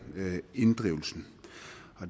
inddrivelsen